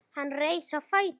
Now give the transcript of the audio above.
Hann reis á fætur.